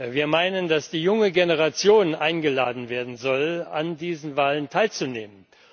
Wir meinen, dass die junge Generation eingeladen werden soll, an diesen Wahlen teilzunehmen.